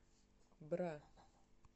бра